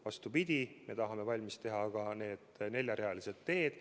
Vastupidi, me tahame valmis teha ka need neljarealised teed.